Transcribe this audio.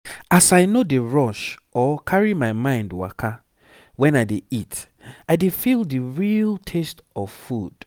as i no dey rush or carry my mind waka when i dey eat i dey feel the real taste of food.